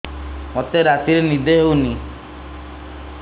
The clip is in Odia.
ମୋତେ ରାତିରେ ନିଦ ହେଉନି